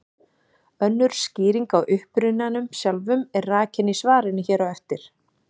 Önnur skýring á upprunanum sjálfum er rakin í svarinu hér á eftir.